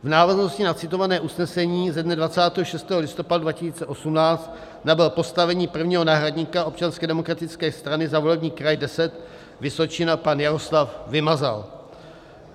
V návaznosti na citované usnesení ze dne 26. listopadu 2018 nabyl postavení prvního náhradníka Občanské demokratické strany za volební kraj 10 Vysočina pan Jaroslav Vymazal.